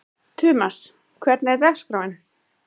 Tumas, hvernig er dagskráin?